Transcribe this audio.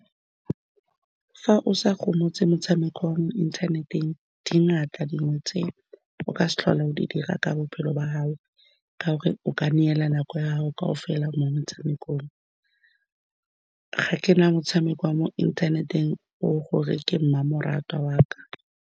Fa o sa gomotse motshameko wa mo inthaneteng, di dingata, dilo tse o ka se tlhole o di dira ka bophelo ba hao, ka gore o ka neela nako ya gago kaofela mo metshamekong. Ga ke na motshameko wa mo inthaneteng o gore ke mmamoratwa wa ka.